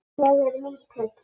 Ég er lítil.